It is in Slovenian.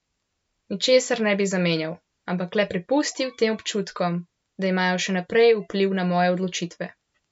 Ničesar ne bi zamenjal, ampak le prepustil tem občutkom, da imajo še naprej vpliv na moje odločitve.